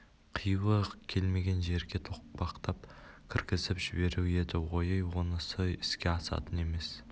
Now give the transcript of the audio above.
қиюы келмеген жерге тоқпақтап кіргізіп жіберу еді ойы онысы іске асатын емес